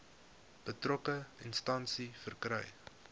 betrokke instansie verkry